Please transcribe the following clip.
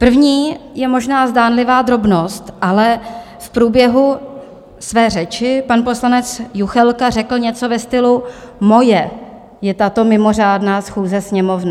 První je možná zdánlivá drobnost, ale v průběhu své řeči pan poslanec Juchelka řekl něco ve stylu: moje je tato mimořádná schůze Sněmovny.